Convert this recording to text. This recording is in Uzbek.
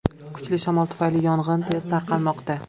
Kuchli shamol tufayli yong‘in tez tarqalmoqda.